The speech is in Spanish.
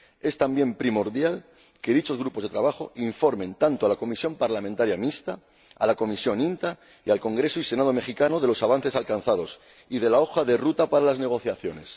Es también primordial que dichos grupos de trabajo informen a la Comisión Parlamentaria Mixta, a la Comisión INTA y al Congreso y Senado mexicanos de los avances alcanzados y de la hoja de ruta para las negociaciones.